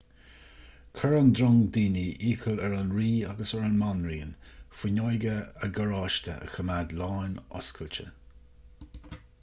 chuir an drong daoine iachall ar an rí agus ar an mbanríon fuinneoga a gcarráiste a choimeád lánoscailte